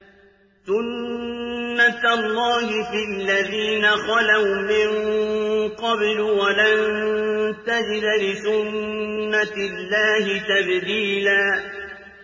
سُنَّةَ اللَّهِ فِي الَّذِينَ خَلَوْا مِن قَبْلُ ۖ وَلَن تَجِدَ لِسُنَّةِ اللَّهِ تَبْدِيلًا